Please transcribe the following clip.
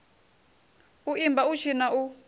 u imba u tshina u